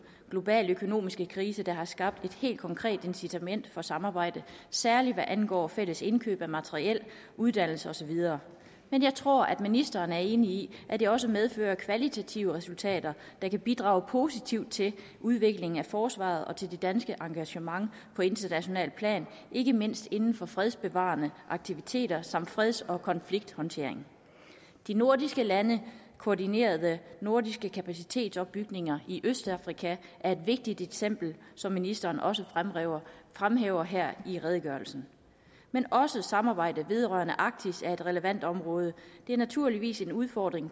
globale økonomiske krise har skabt et helt konkret incitament for et samarbejde særlig hvad angår fælles indkøb af materiel uddannelse og så videre men jeg tror at ministeren er enig i at det også medfører kvalitative resultater der kan bidrage positivt til udviklingen af forsvaret og til det danske engagement på internationalt plan ikke mindst inden for fredsbevarende aktiviteter samt freds og konflikthåndtering de nordiske landes koordinerede nordiske kapacitetsopbygningsindsatser i østafrika er et vigtigt eksempel som ministeren også fremhæver fremhæver her i redegørelsen men også samarbejdet vedrørende arktis er et relevant område det er naturligvis en udfordring